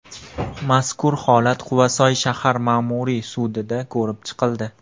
Mazkur holat Quvasoy shahar ma’muriy sudida ko‘rib chiqildi.